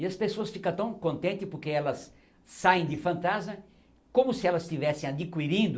E as pessoas ficam tão contentes porque elas saem de fantasma como se elas estivessem adquirindo